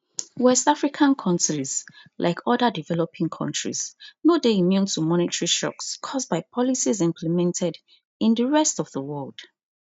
west african kontris like oda developing countries no dey immune to monetary shocks caused by policies implemented in di rest of di world